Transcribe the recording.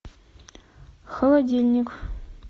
холодильник